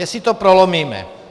Jestli to prolomíme.